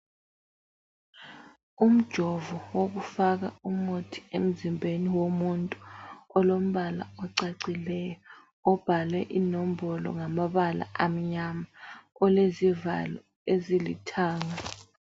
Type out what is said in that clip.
Umjovo wokufaka umuthi emzimbeni womuntu olombala ocacileyo obhalwe inombolo ngamabala amnyama, olezivalo ezilithanga.